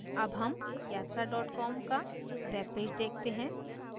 अब हम yatra com का web पेज देखते हैं